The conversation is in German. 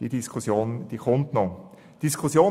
Diese Diskussion wird noch stattfinden.